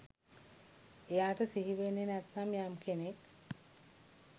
එයාට සිහි වෙන්නෙ නැත්නම් යම් කෙනෙක්